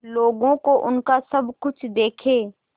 लोगों को उनका सब कुछ देके